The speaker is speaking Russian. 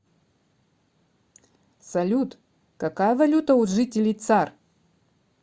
салют какая валюта у жителей цар